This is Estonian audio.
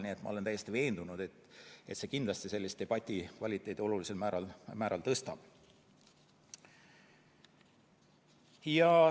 Nii et ma olen täiesti veendunud, et see kindlasti tõstab olulisel määral debati kvaliteeti.